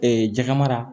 jɛgɛ mara